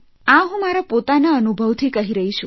આ હું મારા પોતાના અનુભવથી કહી રહી છું